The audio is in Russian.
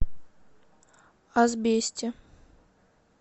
асбесте